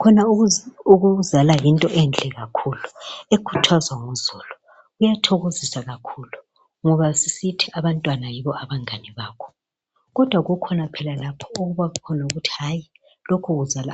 Khona ukuzala yinto enhle kakhulu ekuthazwa nguzulu. Kuyathokozisa kakhulu ngoba sisithi abantwana yibo abangani bakho kodwa kukhona lapho okuba khona ukuthi hayi